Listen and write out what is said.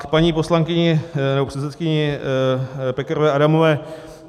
K paní poslankyni nebo předsedkyni Pekarové Adamové.